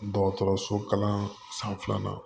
Dɔgɔtɔrɔso kalan san filanan